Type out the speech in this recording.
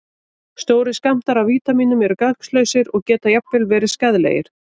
Stórir skammtar af vítamínum eru gagnslausir og geta jafnvel verið skaðlegir.